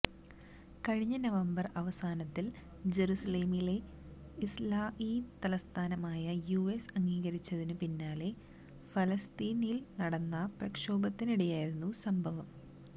കഴിഞ്ഞ നവംബര് അവസാനത്തില് ജറുസലേമിനെ ഇസ്റാഈല് തലസ്ഥാനമായി യുഎസ് അംഗീകരിച്ചതിനു പിന്നാലെ ഫലസ്തീനില് നടന്ന പ്രക്ഷോഭത്തിനിടെയായിരുന്നു സംഭവം